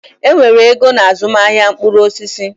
Enwere ego na azụmaahịa mkpụrụ osisi.